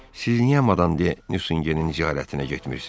"Siz niyə Madam de Nüsingenin ziyarətinə getmirsiz?